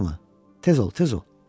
Tez ol, tez ol!